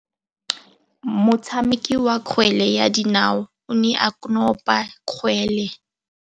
Motshameki wa kgwele ya dinaô o ne a konopa kgwele.